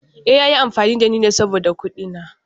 Eh, ya yi amfani da ni saboda kuɗina.